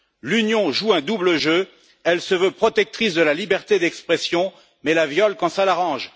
L'Union joue un double jeu elle se veut protectrice de la liberté d'expression mais elle la viole quand ça l'arrange.